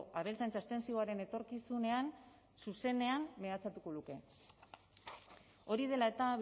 abeltzaintza estentsiboaren etorkizunean zuzenean mehatxatutako luke hori dela eta